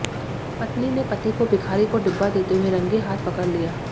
पत्नी ने पति को भिखारी को डिब्बा देते हुए रंगे हाथ पकड़ लिया